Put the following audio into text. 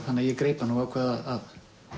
þannig að ég greip hana og ákvað að